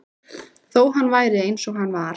Þó hann væri eins og hann var.